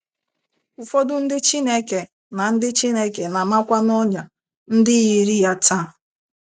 Ụfọdụ ndị Chineke na ndị Chineke na - amakwa n’ọnyà ndị yiri ya taa.